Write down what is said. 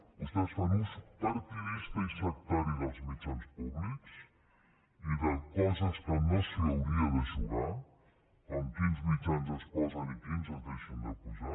vostès fan ús partidista i sectari dels mitjans públics i de coses que no s’hi hauria de jugar com quins mitjans es posen i quins es deixen de posar